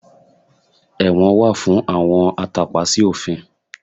Ẹ̀wọ̀n wà fún àwọn atàpa sí òfin